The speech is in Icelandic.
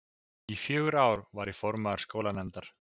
Í fjögur ár var ég formaður skólanefndar.